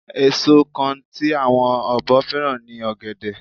Èso kan tí àwọn ọ̀bọ fẹ́ràn ni ọ̀gẹ̀dẹ̀